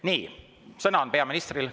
Nii, sõna on peaministril.